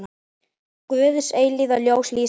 Guðs eilífa ljós lýsi honum.